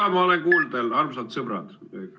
Jaa, ma olen kuuldel, armsad sõbrad!